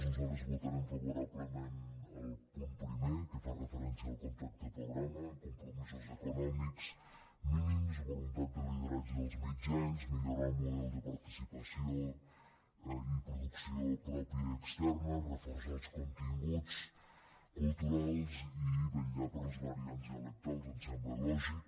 nosaltres votarem favorablement el punt primer que fa referència al contracte programa compromisos econòmics mínims voluntat de lideratge dels mitjans millorar el model de participació i producció pròpia i externa reforçar els continguts culturals i vetllar per les variants dialectals em sembla lògic